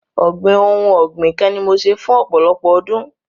Ọ̀gbìn ohun ọ̀gbìn kan ni mo ṣe fún ọ̀pọ̀lọpọ̀ ọdún.